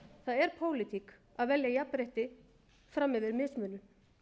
það er pólitík að velja jafnrétti fram yfir mismunun